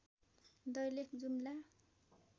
Dailekh Jumla